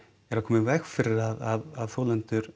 að koma í veg fyrir að þolendur